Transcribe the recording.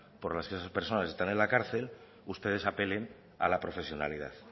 por las que esas personas están en la cárcel ustedes apelen a la profesionalidad